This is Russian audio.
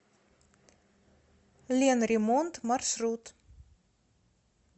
ленремонт маршрут